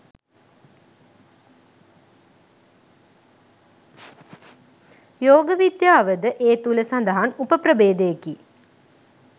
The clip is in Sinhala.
යෝග විද්‍යාවද ඒ තුළ සඳහන් උප ප්‍රභේදයකි.